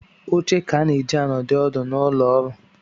Oche ka a na-eji anọdụ ọdụ n’ụlọọrụ